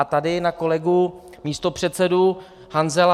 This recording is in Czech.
A tady na kolegu místopředsedu Hanzela.